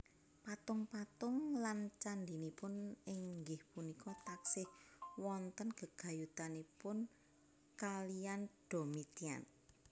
Patung patung lan candinipun inggih punika taksih wonten gegayutanipun kaliyan Domitian